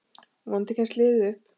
Vonandi kemst liðið upp.